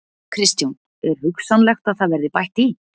Kristján: Er hugsanlegt að það verði bætt í?